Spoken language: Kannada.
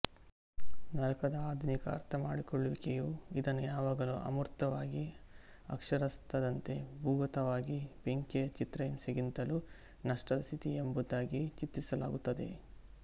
ನರಕದ ಆಧುನಿಕ ಅರ್ಥಮಾಡಿಕೊಳ್ಳುವಿಕೆಯು ಇದನ್ನು ಯಾವಾಗಲೂ ಅಮೂರ್ತವಾಗಿ ಅಕ್ಷರಾತ್ಥದಂತೆ ಭೂಗತವಾಗಿ ಬೆಂಕಿಯ ಚಿತ್ರಹಿಂಸೆಗಿಂತಲೂ ನಷ್ಟದ ಸ್ಥಿತಿ ಎಂಬುದಾಗಿ ಚಿತ್ರಿಸಲಾಗುತ್ತದೆ